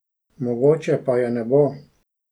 Mogoče pa je ne bo.